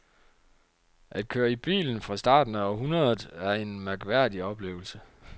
At køre i bilen fra starten af århundredet er en mærkværdig oplevelse.